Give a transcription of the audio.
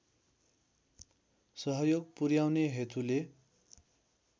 सहयोग पुर्‍याउने हेतुले